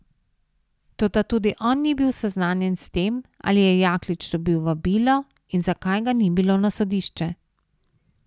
Toda tudi on ni bil seznanjen s tem, ali je Jaklič dobil vabilo in zakaj ga ni bilo na sodišče.